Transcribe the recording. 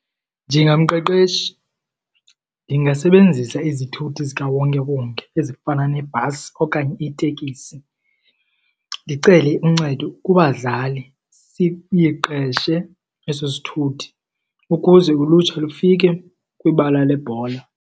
Njengamqeqeshi ndingasebenzisa izithuthi zikawonkewonke ezifana nebhasi okanye itekisi, ndicele uncedo kubazali siyiqeshe eso sithuthi ukuze ulutsha lufike kwibala lebhola.